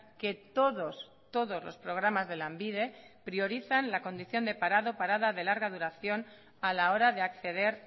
que todos todos los programas de lanbide priorizan la condición de parado o parada de larga duración a la hora de acceder